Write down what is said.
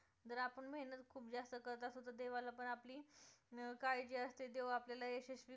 देवाला पण आपली अं काळजी असते देव आपल्याला यशस्वी